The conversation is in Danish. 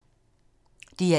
DR1